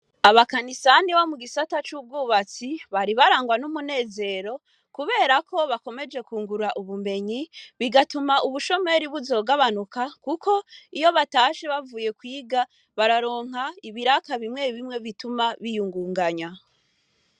Abakanisani bo mu gisata c'ubwubatsi bari barangwa n'umunezero kuberako bakomeje kungura ubumenyi bigatuma ubushomeri buzogabanuka, kuko iyo batashe bavuye kwiga bararonka ibiraka bimwe bimwe bituma biyungunganya.